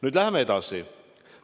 Nüüd läheme edasi.